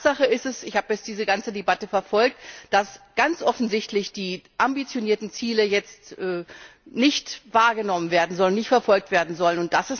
Tatsache ist ich habe jetzt diese ganze Debatte verfolgt dass ganz offensichtlich die ambitionierten Ziele jetzt nicht wahrgenommen werden sollen, nicht verfolgt werden sollen.